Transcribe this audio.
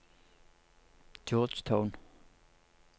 Georgetown